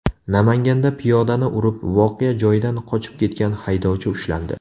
Namanganda piyodani urib, voqea joyidan qochib ketgan haydovchi ushlandi.